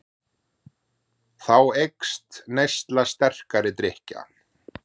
Þá eykst neysla sterkari drykkja.